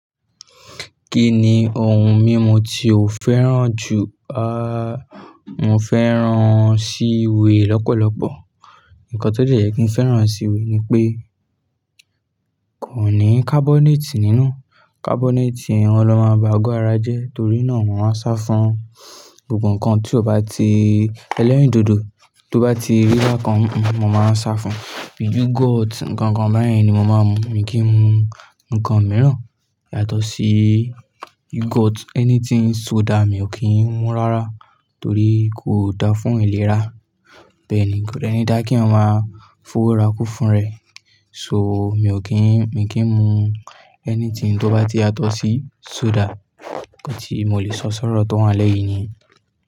Kí ni ohun mímu tí o fẹ́ràn jù? A, mo fẹ́ràn sí we lọ́pọ̀lọpọ̀. Ǹkan tó lè jẹ́ kí ń fẹ́ràn sí we ni pé kò ní carbonate nínú. Carbonate yẹn gan ló máa ń ba ago ara jẹ́ torí náà mo máa ń sá fún gbogbo ǹkan tí ó bá ti ẹlẹ́rìndòdò, tó bá ti rí bákann, mo máa ń sá fún. Bíi yogurt, ǹkan kan báyìí ni mo máa ń mu. Mi kì í mu ǹkan mìíràn yàtọ̀ sí yoghurt, anything soda mi ò kí ń mu rárá torí kò dáa fún ìlera. Bẹ́ẹ̀ ni kò dẹni dá kí èèyàn maa fowora ku fún rẹ̀. So mi ò kí ń, mi kì í mu anything tó bá ti yàtọ̀ sí soda. Ǹkan tí mo lè sọ sọ́rọ̀ tó wọn lẹ́yìn niyẹn.